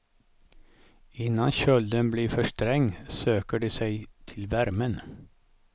Innan kölden blir för sträng söker de sig till värmen.